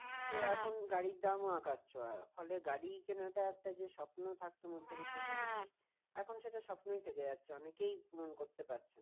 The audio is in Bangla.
তো এখন গাড়ির দামও আকাশ ছোঁয়া ফলে গাড়ি কেনাটা একটা যে স্বপ্ন থাকতো মধ্যবিত্ত family র এখন সেটা স্বপ্নই থেকে যাচ্ছে অনেকেই পূরণ করতে পারছে না